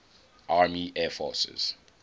army air forces